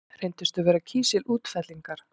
Reyndust þau vera kísilútfellingar.